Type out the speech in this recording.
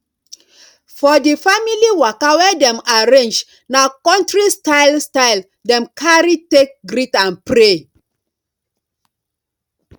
for di family waka wey dem arrange na countri style style dem carry take greet and pray